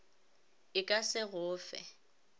e ka se go fe